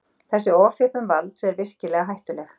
Þessi ofþjöppun valds er virkilega hættuleg